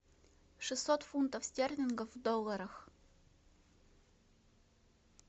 шестьсот фунтов стерлингов в долларах